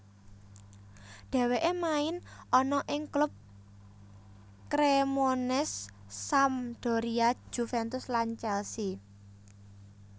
Dheweke main ana ing klub Cremonese Sampdoria Juventus lan Chelsea